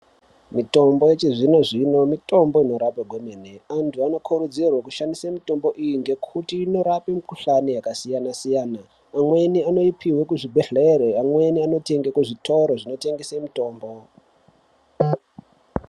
Mitombo yechizvinozvino mitombo inorapa kwemene antu anokurudzirwe kushandise mitombo iyi ngekuti inorape mikhuhlani yaksiyanasiyana amweni anopiwe kuzvibhehlere amweni anotenge kuzvitoro zvinotengese mutombo.